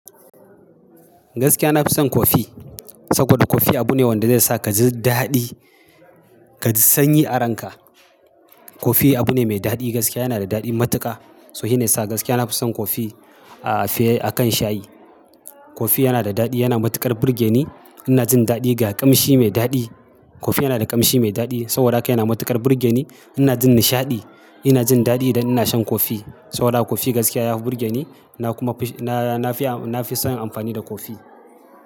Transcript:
Gaskiya na fi son kofi, saboda kofi abu ne wanda zai sa ka ji daɗi, ka ji sanyi a ranka. Kofi abu ne mai daɗi, gaskiya yana da daɗin matuƙa. So shi ne sa gaskiya na fi son kofi a fiye akan shayi. Kofi yana da daɗi, yana matuƙar burge ni. Ina jin daɗi ga ƙamshi mai daɗi. Kofi yana da ƙamshi mai daɗi saboda haka yana matuƙar burge ni. Ina jin nishaɗi, ina jin daɗi idan ina shan kofi saboda haka kofi gaskiya ya fi burge ni. Na kuma fi, na, na fi, na fi son amfani da kofi.